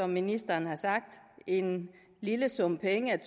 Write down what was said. ministeren har sagt en lille sum penge